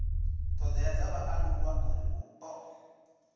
thodea dza vhaaluwa uri vhupo